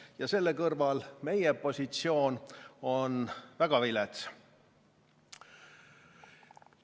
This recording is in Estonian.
Ja selle kõrval on meie positsioon väga vilets.